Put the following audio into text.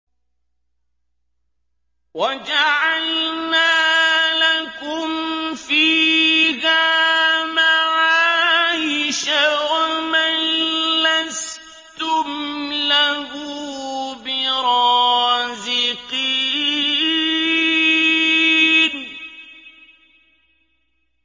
وَجَعَلْنَا لَكُمْ فِيهَا مَعَايِشَ وَمَن لَّسْتُمْ لَهُ بِرَازِقِينَ